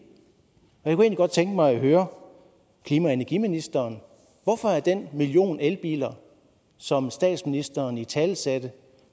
og jeg godt tænke mig at høre klima og energiministeren hvorfor er den million elbiler som statsministeren italesatte